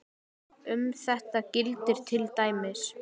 Um þetta gildir til dæmis